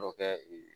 Dɔ kɛ ee